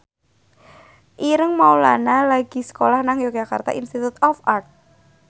Ireng Maulana lagi sekolah nang Yogyakarta Institute of Art